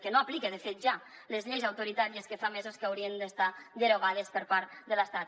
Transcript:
que no aplica de fet ja les lleis autoritàries que fa mesos que haurien d’estar derogades per part de l’estat